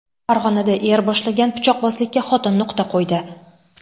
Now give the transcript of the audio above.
Farg‘onada er boshlagan pichoqbozlikka xotin nuqta qo‘ydi.